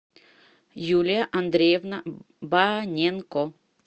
юлия андреевна баненко